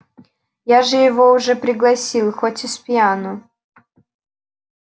я же его уже пригласил хоть и спьяну